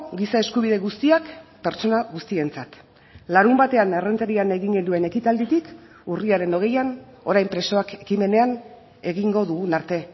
giza eskubide guztiak pertsona guztientzat larunbatean errenterian egin genuen ekitalditik urriaren hogeian orain presoak ekimenean egingo dugun arte